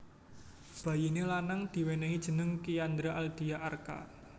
Bayiné lanang diwènèhi jeneng Kiandra Aldia Arka